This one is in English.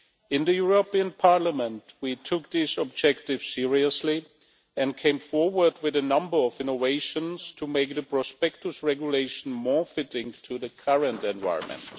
In the European Parliament, we took these objectives seriously and came forward with a number of innovations to make the Prospectus Regulation more fitting to the current environment.